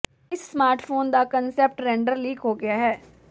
ਇਸ ਸਮਾਰਟਫੋਨ ਦਾ concept render leak ਹੋ ਗਿਆ ਹੈ